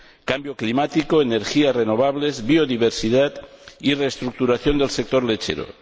cambio climático, energías renovables, biodiversidad y reestructuración del sector lechero.